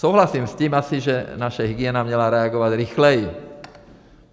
Souhlasím asi s tím, že naše hygiena měla reagovat rychleji.